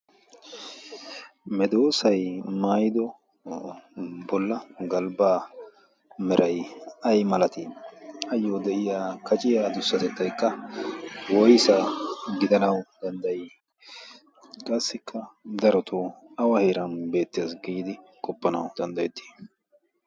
medoosay maaydo bolla galbbaa meray ay malatii ayyo de'iya kaciyaa durssatettaikka woysa gidanau danddayii qaassikka darotoo awa heeran beettees giidi qoppanau danddayettii?